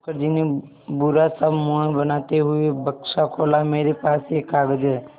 मुखर्जी ने बुरा सा मुँह बनाते हुए बक्सा खोला मेरे पास एक कागज़ है